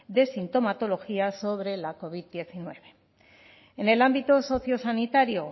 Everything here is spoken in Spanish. de sintomatología sobre la covid hemeretzi en el ámbito sociosanitario